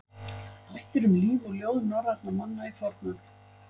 Þættir um líf og ljóð norrænna manna í fornöld.